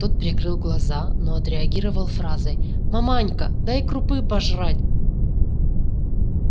тот прикрыл глаза но отреагировал фразой маманька дай крупы пожрать